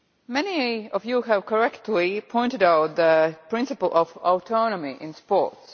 Many of you have correctly pointed out the principle of autonomy in sport.